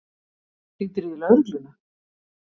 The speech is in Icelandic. Hringdirðu í lögregluna?